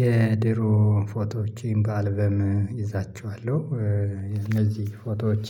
የድሮ ፎቶዎቼን በአልበም እይዛቸዋለሁ፤ እነዚህ ፎቶዎቼ